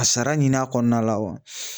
Ka sara ɲin'a kɔnɔna la